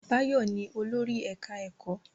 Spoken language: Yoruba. Báyọ̀ ni olórí ẹ̀ká ẹ̀kọ́